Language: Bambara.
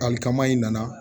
Alikama in nana